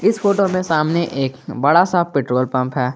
इस फोटो में सामने एक बड़ा सा पेट्रोल पंप है।